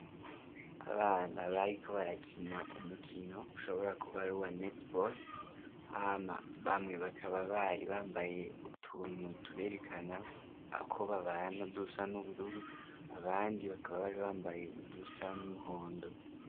Abana bariko barakina umukino ushobora kuba ari uwa netebore, hama bamwe bakaba bari bambaye utuntu tuberekana uko babana dusa n'ubururu, abandi bakaba bari bambaye udusa n'umuhondo.